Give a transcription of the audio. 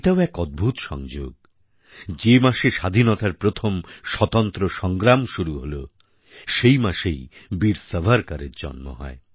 এটাও এক অদ্ভূত সংযোগ যে মাসে স্বাধীনতার প্রথম স্বতন্ত্র সংগ্রাম শুরু হল সেই মাসেই বীর সাভারকরের জন্ম হয়